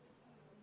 Jätkame tööd.